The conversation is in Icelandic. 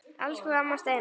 Elsku amma Steina.